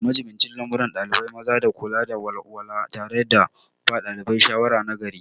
Majibincin lamuran ɗalibai maza na kula da walwala tare da ba ɗalibai shawara nagari.